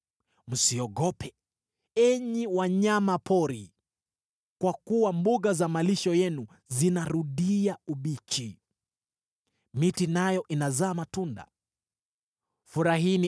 Msiogope, enyi wanyama pori, kwa kuwa mbuga za malisho yenu zinarudia ubichi. Miti nayo inazaa matunda, mtini na mzabibu inatoa utajiri wake.